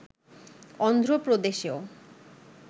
Andhra প্রদেশেও